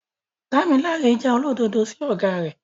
Damilare jẹ́ olódodo sí ọ̀gá rẹ̀.